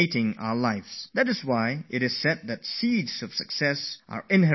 This is what is called the seeds of success inherent in failures